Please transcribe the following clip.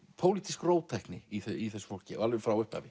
pólitísk róttækni í þessu fólki alveg frá upphafi